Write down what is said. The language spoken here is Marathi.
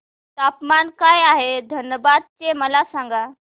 तापमान काय आहे धनबाद चे मला सांगा